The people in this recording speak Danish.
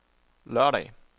lørdag